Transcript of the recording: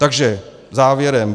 Takže závěrem.